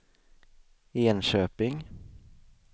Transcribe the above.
Enköping